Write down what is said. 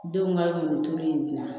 Denw ka mɔnituru in na